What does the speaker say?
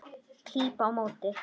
Klíp á móti.